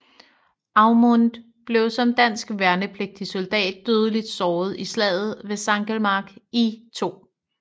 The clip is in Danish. Aumont blev som dansk værnepligtig soldat dødeligt såret i slaget ved Sankelmark i 2